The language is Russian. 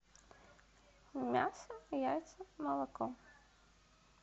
мясо яйца молоко